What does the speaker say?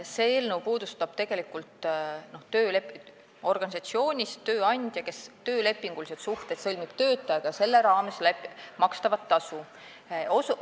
See eelnõu puudutab tegelikult töötasu maksmist, kui tööandja sõlmib organisatsioonis töötajaga töölepingulised suhted.